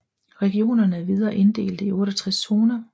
Regionerne er videre inddelte i 68 zoner